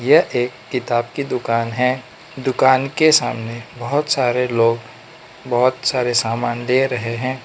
यह एक किताब की दुकान है दुकान के सामने बहोत सारे लोग बहोत सारे सामान ले रहे हैं।